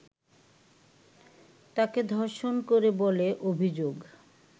তাঁকে ধর্ষণ করে বলে অভিযোগ